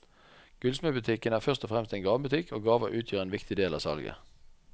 Gullsmedbutikken er først og fremst en gavebutikk, og gaver utgjør en viktig del av salget.